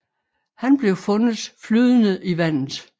Han blev fundet flydende i vandet